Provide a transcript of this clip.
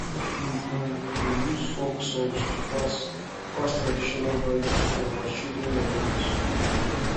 we um dey use folk songs to pass pass traditional values to our children and youth